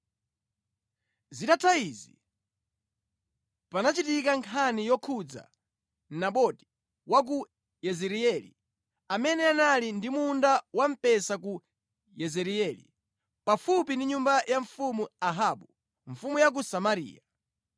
Zitatha izi, panachitika nkhani yokhudza Naboti wa ku Yezireeli amene anali ndi munda wamphesa ku Yezireeli, pafupi ndi nyumba ya mfumu Ahabu, mfumu ya ku Samariya.